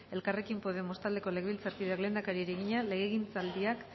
elkarrekin podemos taldeko legebiltzarkideak lehendakariari egina legegintzaldiak